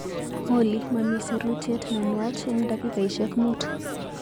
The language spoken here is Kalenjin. Olly, mamii sirutyet ne nwach eng dakikaishek muut.